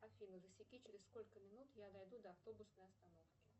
афина засеки через сколько минут я дойду до автобусной остановки